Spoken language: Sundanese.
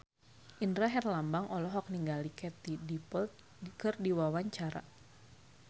Indra Herlambang olohok ningali Katie Dippold keur diwawancara